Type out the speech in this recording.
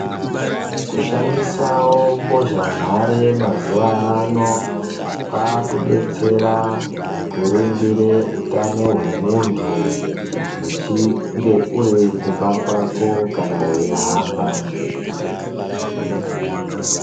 Kushandisawo mbozhanhare mazuva ano, kwaakudetsera kuringire utano hwemuntu uchinge urikumba kwako kana weihamba.